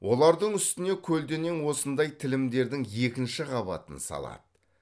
олардың үстіне көлденең осындай тілімдердің екінші қабатын салады